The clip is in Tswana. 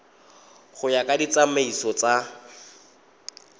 go ya ka ditsamaiso tsa